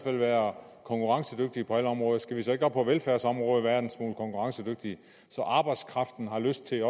at være konkurrencedygtige på alle områder skal vi så ikke også på velfærdsområdet være en smule konkurrencedygtige så arbejdskraften har lyst til